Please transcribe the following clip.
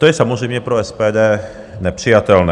To je samozřejmě pro SPD nepřijatelné.